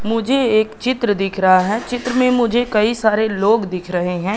मुझे एक चित्र दिख रहा है चित्र मे मुझे कई सारे लोग दिख रहे है।